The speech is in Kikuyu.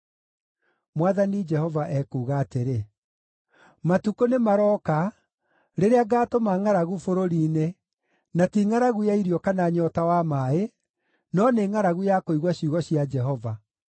Mwathani Jehova ekuuga atĩrĩ: “Matukũ nĩmarooka, rĩrĩa ngaatũma ngʼaragu bũrũri-inĩ, na ti ngʼaragu ya irio kana nyoota wa maaĩ, no nĩ ngʼaragu ya kũigua ciugo cia Jehova.